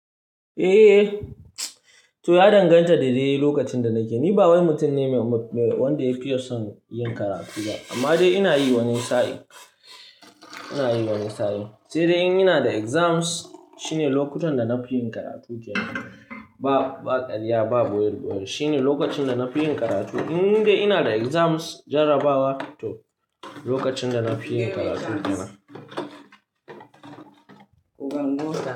Eh, to ya danganta da dai lokacin da nake. Ni bawani mutum ne wanda yafiya son yin karatu ba, amma dai ina yi wani sa'in, ina yi wani sa'in. Sai dai in ina da exams shine lokutan da na fi yin karatu kenan. Ba, ba karya, ba ɓoye-ɓoye. Shine lokacin da na fi yin karatu. In dai ina da exams jarabawa toh lokacin da na fi yin karatu kenan.